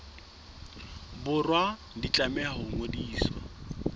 borwa di tlameha ho ngodiswa